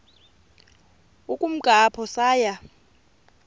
ukumka apho saya